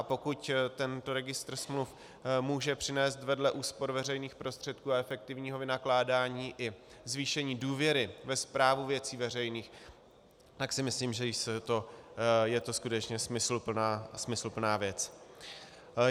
A pokud tento Registr smluv může přinést vedle úspor veřejných prostředků a efektivního vynakládání i zvýšení důvěry ve správu věcí veřejných, tak si myslím, že je to skutečně smysluplná věc.